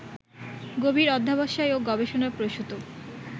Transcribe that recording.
গভীর অধ্যবসায় ও গবেষণাপ্রসূত